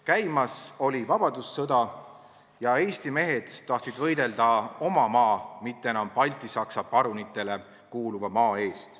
Käimas oli vabadussõda ja Eesti mehed tahtsid võidelda oma maa, mitte enam baltisaksa parunitele kuuluva maa eest.